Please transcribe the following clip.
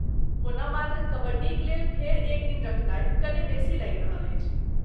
ओना ,मात्र कबड्डीक लेल फेर एक दिन रखनाइ कने बेसी लागि रहल अछि ।